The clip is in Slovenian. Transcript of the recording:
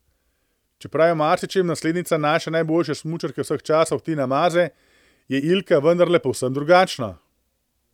Čeprav je v marsičem naslednica naše najboljše smučarke vseh časov Tine Maze, je Ilka vendarle povsem drugačna.